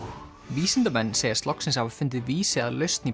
vísindamenn segjast loksins hafa fundið vísi að lausn í